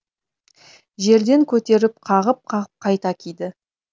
жерден көтеріп қағып қағып қайта киді